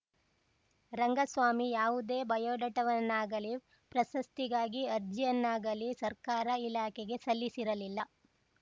ರಂಗಸ್ವಾಮಿ ಯಾವುದೇ ಬಯೋಡಾಟವನ್ನಾಗಲೀ ಪ್ರಶಸ್ತಿಗಾಗಿ ಅರ್ಜಿಯನ್ನಾಗಲೀ ಸರ್ಕಾರ ಇಲಾಖೆಗೆ ಸಲ್ಲಿಸಿರಲಿಲ್ಲ